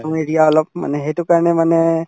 area অলপ মানে সেইটো কাৰণে মানে